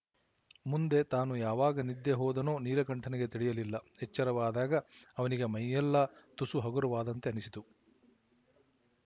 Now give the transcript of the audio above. ಮುಂದೆ ತಾನು ಯಾವಾಗ ನಿದ್ದೆ ಹೋದನೋ ನೀಲಕಂಠನಿಗೆ ತಿಳಿಯಲಿಲ್ಲ ಎಚ್ಚರವಾದಾಗ ಅವನಿಗೆ ಮೈಯೆಲ್ಲ ತುಸು ಹಗುರವಾದಂತೆ ಅನಿಸಿತು